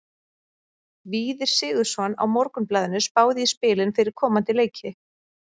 Víðir Sigurðsson á Morgunblaðinu spáði í spilin fyrir komandi leiki.